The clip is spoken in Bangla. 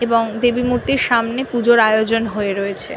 এবং দেবী মূর্তি সামনে পুজোর আয়োজন হয়ে রয়েছে।